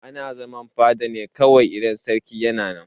Ana zaman fada ne kawai in sarki yana nan.